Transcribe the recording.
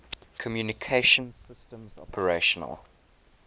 communication systems operational